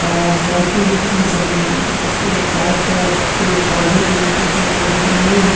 और सेल्फी भी खींच रहे हैं उसके चारों तरफ पेड़ पौधे भी ऊंचे ऊंचे दिख रहे हैं।